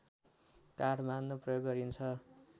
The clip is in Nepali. काठ बाँध्न प्रयोग गरिन्छ